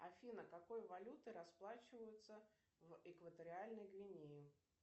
афина какой валютой расплачиваются в экваториальной гвинее